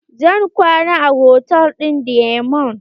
Zan kwana a hotal ɗin diamond.